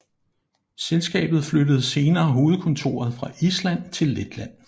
Selskabet flyttede senere hovedkontoret fra Island til Letland